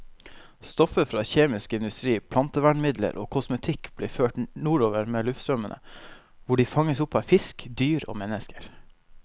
Stoffer fra kjemisk industri, plantevernmidler og kosmetikk blir ført nordover med luftstrømmene, hvor de fanges opp av fisk, dyr og mennesker.